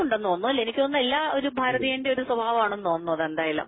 ഉണ്ടന്നു തോന്നുന്നു എനിക്ക് തോന്നുന്നു എല്ലാം ഒരു ഭാരതീയന്റെ ഒരു സ്വഭാവമാണ്എന്നു തോന്നുന്നു അത് എന്തായാലും